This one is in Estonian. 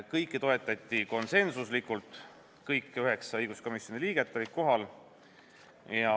Kõiki toetati konsensuslikult, kõik üheksa õiguskomisjoni liiget olid kohal.